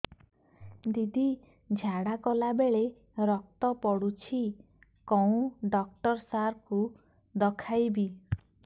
ଦିଦି ଝାଡ଼ା କଲା ବେଳେ ରକ୍ତ ପଡୁଛି କଉଁ ଡକ୍ଟର ସାର କୁ ଦଖାଇବି